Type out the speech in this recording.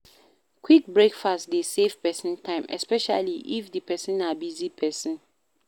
Quick breakfast dey save person time, especially if di person na busy person